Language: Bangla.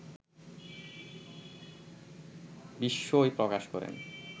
বিস্ময় প্রকাশ করেন